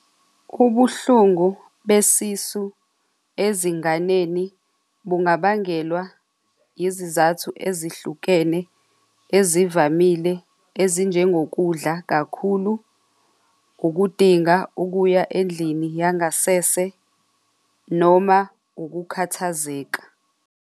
Ubuhlungu besisu ezinganeni bungabangelwa izizathu ezihlukene ezivamile ezinjengokudla kakhulu ukudinga ukuya endlini yangasese noma ukukhathazeka.